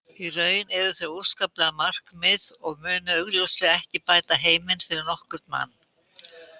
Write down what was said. Í raun eru þau óafsakanleg markmið og munu augljóslega ekki bæta heiminn fyrir nokkurn mann.